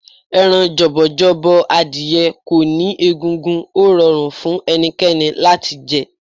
Ẹran jọ̀bọ̀jọ̀bọ̀ adìye kò ní egungun, ó rọrùn fún ẹnikẹ́ni láti jẹ.